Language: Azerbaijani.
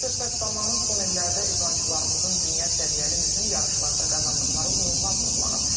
Söhbət zamanı son illərdə idmançılarımızın dünya səviyyəli mühüm yarışlarda qazandıqları uğurlar vurğulanıb.